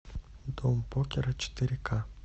дом покера четыре ка